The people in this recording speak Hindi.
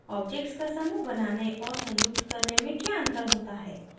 objects का समूह बनाने और संयुक्त करने में क्या अंतर होता है